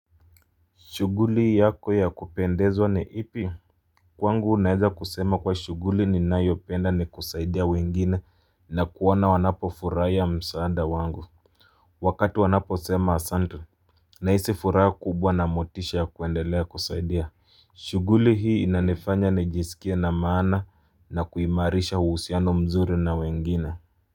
Shuguli yako ya kupendezwa ni ipi? Kwangu neeza kusema kuwa shuguli ninayopenda ni kusaidia wengine na kuona wanapo furahia msaada wangu. Wakatu wanapo sema Asante. Na hisi furaha kubwa na motisha ya kuendelea kusaidia. Shuguli hii inanifanya nijisikia na maana na kuimarisha uhusiano mzuri na wengine.